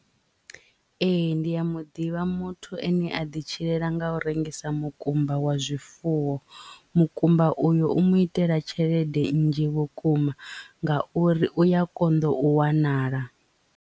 Ee ndi ya muḓivha muthu ane a ḓi tshilela nga u rengisa mukumba wa zwifuwo mukumba uyu u mu itela tshelede nnzhi vhukuma nga uri uya konḓa u wanala.